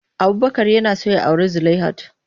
Abubakar yana son ya auri Zulaihat.